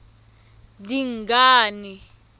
dingane